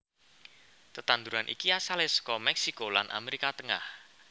Tetanduran iki asalé saka Mèksiko lan Amérika Tengah